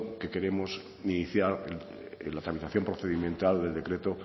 que queremos iniciar la tramitación procedimental del decreto